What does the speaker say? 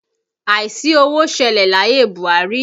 Àìsí owó ṣẹlẹ̀ láyé Buhari